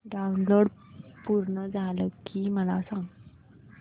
download पूर्ण झालं की मला सांग